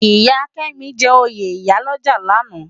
Iya Kemi jè óyé iyá lòjá làná